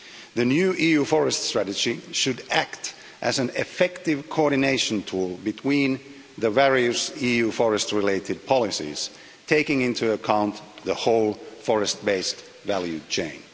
The new EU forest strategy should act as an effective coordination tool between the various EU forest related policies, taking into account the whole forest based value chain.